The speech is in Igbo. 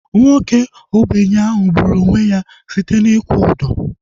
Nwoke ogbenye ahu gburu onwe ya site na ịkwụ ụdọ